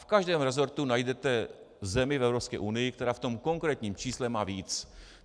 V každém resortu najdete zemi v Evropské unii, která v tom konkrétním čísle má víc.